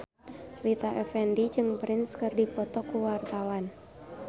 Rita Effendy jeung Prince keur dipoto ku wartawan